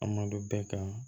An malo bɛɛ kan